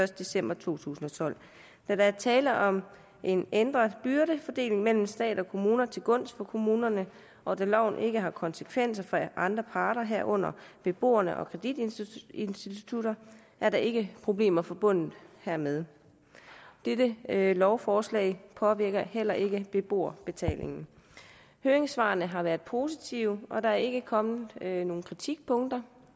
december to tusind og tolv da der er tale om en ændret byrdefordeling mellem stat og kommune til gunst for kommunerne og da loven ikke har konsekvenser for andre parter herunder beboerne og kreditinstitutterne er der ikke problemer forbundet hermed dette lovforslag påvirker heller ikke beboerbetalingen høringssvarene har været positive og der er ikke kommet nogen kritikpunkter